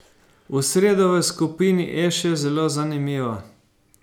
V sredo v skupini E še zelo zanimivo.